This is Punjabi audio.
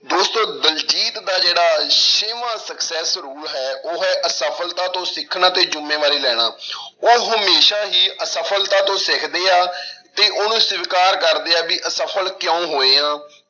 ਦੋਸਤੋ ਦਲਜੀਤ ਦਾ ਜਿਹੜਾ ਛੇਵਾਂ success rule ਹੈ ਉਹ ਹੈ ਅਸਫ਼ਲਤਾ ਤੋਂ ਸਿੱਖਣਾ ਤੇ ਜ਼ਿੰਮੇਵਾਰੀ ਲੈਣਾ ਉਹ ਹਮੇਸ਼ਾ ਹੀ ਅਸਫ਼ਲਤਾ ਤੋਂ ਸਿੱਖਦੇ ਆ ਤੇ ਉਹਨੂੰ ਸਵਿਕਾਰ ਕਰਦੇ ਆ ਵੀ ਅਸਫ਼ਲ ਕਿਉਂ ਹੋਏ ਹਾਂ,